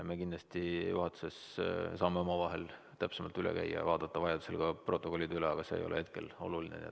Me kindlasti juhatuses saame omavahel täpsemalt üle käia ja vaadata vajadusel ka protokollid üle, aga see ei ole hetkel oluline.